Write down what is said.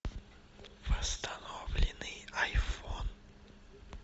восстановленный айфон